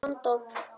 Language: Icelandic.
Að vanda.